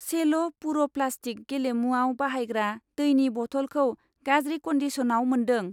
सेल' पुर' प्लास्टिक गेलेमुआव बाहायग्रा दैनि बथल खौ गाज्रि कन्दिसनाव मोन्दों।